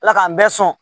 Ala k'an bɛɛ sɔn